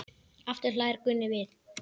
Aftur hlær Gunni við.